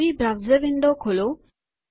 નવી browser window ખોલો